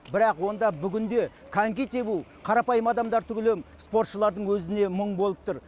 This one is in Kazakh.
бірақ онда бүгінде коньки тебу қарапайым адамдар түгілі спортшылардың өзіне мұң болып тұр